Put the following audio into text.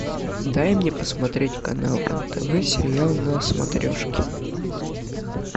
дай мне посмотреть канал нтв сериал на смотрешке